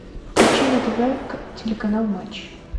включи на тв телеканал матч